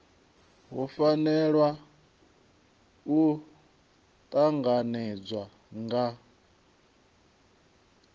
hu fanela u tanganedzwa nga